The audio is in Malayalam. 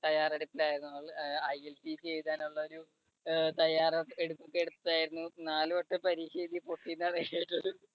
തയ്യാറെടുപ്പിലായിരുന്നു അവൾ ILTT എഴുതാനുള്ള ഒരു തയ്യാറ് എടു എടുത്തായിരുന്നു. നാലുവട്ടം പരീക്ഷ എഴുതി പൊട്ടി എന്നാണ് കേട്ടത്